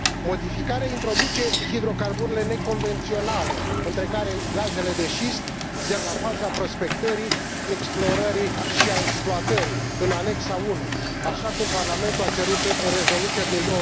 Modificarea introduce hidrocarburile neconvenționale, între care gazele de șist, de la faza prospectării, explorării și a exploatării, în anexa I, așa cum Parlamentul a cerut în rezoluția din